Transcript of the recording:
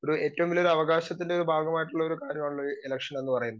Speaker 2 ഏറ്റവും വലിയൊരു അവകാശത്തിൻറെ ഒരു ഭാഗമായിട്ടൊള്ളൊരു കാര്യമാണല്ലോ ഇലക്ഷൻ എന്ന് പറയുന്നത്.